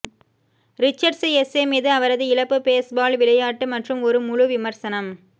Richards essay மீது அவரது இழப்பு பேஸ்பால் விளையாட்டு மற்றும் ஒரு முழு விமர்சனம்